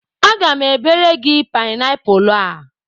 Aga m ebere gị paịnapụlụ a.